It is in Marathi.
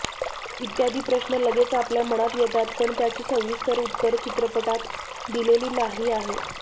इत्यादी प्रश्न लगेच आपल्या मनात येतात पण त्याची सविस्तर उत्तर चित्रपटात दिलेली नाही आहे